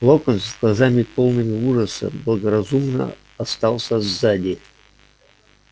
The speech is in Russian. локонс с глазами полными ужаса благоразумно остался сзади